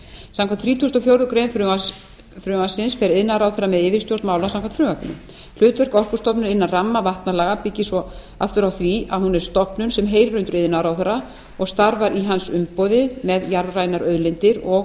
samkvæmt þrítugustu og fjórðu grein frumvarpsins fer iðnaðarráðherra með yfirstjórn mála samkvæmt frumvarpinu hlutverk orkustofnunar innan ramma vatnalaga byggist svo aftur á því að hún er stofnun sem heyrir undir iðnaðarráðherra og starfar í hans umboði með jarðrænar auðlindir og